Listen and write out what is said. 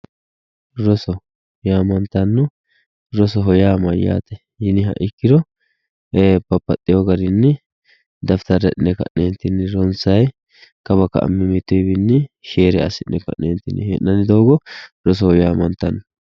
Roso yaamantanno, rosoho yaa mayate yinniha ikkiro e"e babbaxewo garinni dafittara hidhine ka'netinni ronsayi kawa ka"a mimmituwinni share assi'ne ka'nentinni hee'nanni doogo rosoho yaamantano.